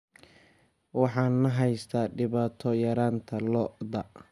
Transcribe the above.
Waxaa na haysata dhibaato yaraanta lo'da.